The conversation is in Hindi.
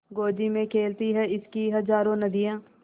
गोदी में खेलती हैं इसकी हज़ारों नदियाँ